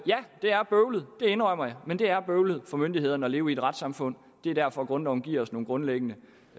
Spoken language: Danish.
det er bøvlet det indrømmer jeg men det er bøvlet for myndighederne at leve i et retssamfund det er derfor grundloven giver os nogle grundlæggende